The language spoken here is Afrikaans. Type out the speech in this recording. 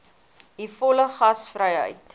u volle gasvryheid